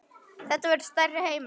Þetta verður stærri heimur.